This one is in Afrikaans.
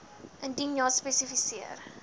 indien ja spesifiseer